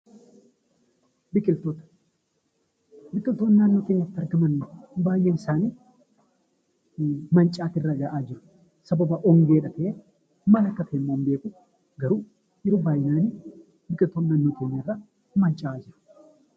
Biqiltuun naannoo keenyatti argaman baay'een isaanii mancaatii irra gahaa jiru. Sababa hongeedha ta'ee maal akka ta'emmoo hin beeku garuu baay'inaan biqiltoonni naannoo keenyarraa manca'aa jiru.